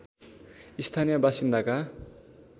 स्थानीय बासिन्दाका